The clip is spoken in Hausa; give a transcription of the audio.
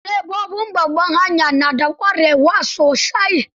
Direbobin babbar hanya na da ƙwarewa sosai.